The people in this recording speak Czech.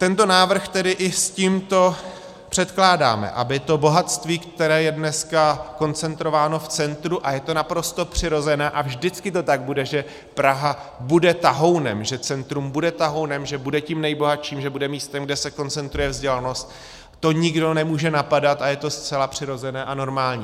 Tento návrh tedy i s tímto předkládáme, aby to bohatství, které je dneska koncentrováno v centru - a je to naprosto přirozené a vždycky to tak bude, že Praha bude tahounem, že centrum bude tahounem, že bude tím nejbohatším, že bude místem, kde se koncentruje vzdělanost, to nikdo nemůže napadat a je to zcela přirozené a normální.